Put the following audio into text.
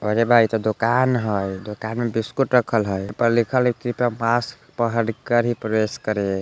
अरे बा इ तो दुकान हेय दुकान में बिस्कुट रखल हेय ई पर लिखल हेय कृपया मास्क पहन कर ही प्रवेश करे ।